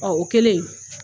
Ɔ o kelen